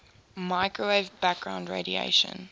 microwave background radiation